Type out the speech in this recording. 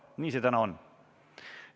Nii see täna on.